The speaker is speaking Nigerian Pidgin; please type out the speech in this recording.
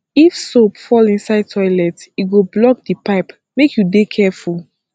if soap fall inside toilet e go block di pipe make you dey careful